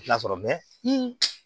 I tɛ na sɔrɔ